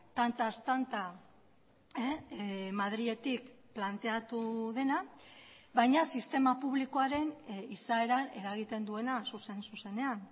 tantaz tanta madriletik planteatu dena baina sistema publikoaren izaeran eragiten duena zuzen zuzenean